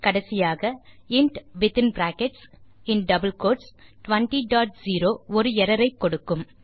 கடைசியாக int200 ஒரு error ஐ கொடுக்கும்